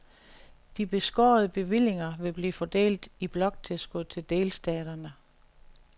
De beskårede bevillinger vil blive fordelt i bloktilskud til delstaterne.